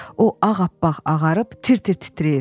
O ağappaq ağarıb tir-tir titrəyir.